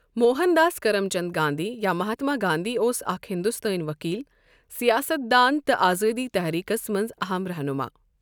Mohan Das Karamchand Gandhi یا مَہاتما گانٛدھی اوس اَکھ ہِندوستٲنؠ ؤکیٖل، سِیاسَتھ دان تہٕ آزٲدی تٔحریٖکَس مَنٛز اَہَم رہنما۔